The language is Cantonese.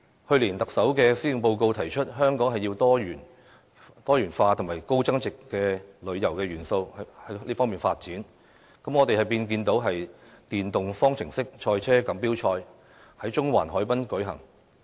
去年，特首在施政報告提出香港的旅遊業要朝"多元化"和"高增值"方向發展，於是我們便看到"電動方程式賽車錦標賽"在中環海濱舉行。